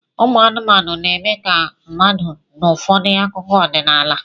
Ụmụ anụmanụ na-eme ka mmadụ n'ụfọdụ akụkọ ọdịnala